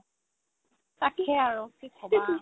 তাকে আৰু কি ক'বা